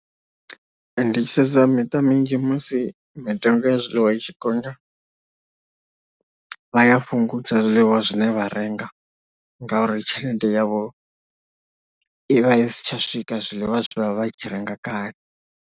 Ndi tshi sedza miṱa minzhi musi mitengo ya zwiḽiwa i tshi gonya, vha ya fhungudza zwiḽiwa zwine vha renga ngauri tshelede yavho i vha i si tsha swika zwiḽiwa zwe vha vha tshi renga kale.